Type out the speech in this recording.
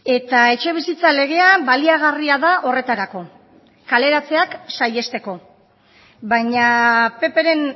eta etxebizitza legea baliagarria da horretarako kaleratzeak saihesteko baina ppren